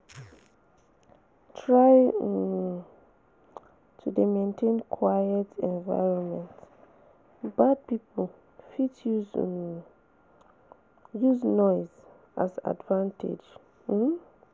Try um to de maintain quite environment bad pipo fit um use noise as advantage um